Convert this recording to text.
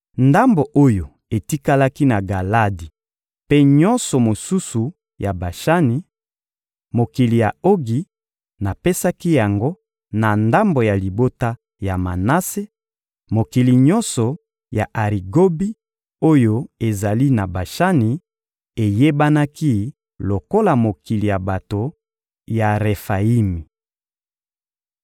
Ndambo oyo etikalaki na Galadi mpe nyonso mosusu ya Bashani, mokili ya Ogi, napesaki yango na ndambo ya libota ya Manase: Mokili nyonso ya Arigobi, oyo ezali na Bashani, eyebanaki lokola mokili ya bato ya Refayimi.